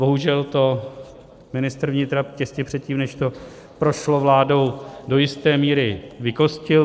Bohužel to ministr vnitra těsně předtím, než to prošlo vládou, do jisté míry vykostil.